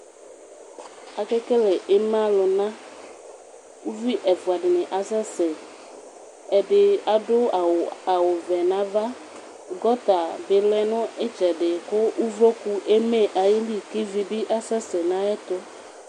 Ekekle ima lʋna, ʋvi ɛfʋadini asɛsɛ, ɛdi adʋ awʋvɛ nʋ ava, gota bi lɛnʋ itsɛdi, kʋ ʋvlɔkʋ eme ayʋ ili kʋ ivibi asɛsɛ nʋ ayʋ ɛtʋ